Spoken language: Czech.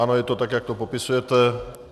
Ano, je to tak, jak to popisujete.